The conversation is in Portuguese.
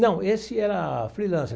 Não, esse era freelancer.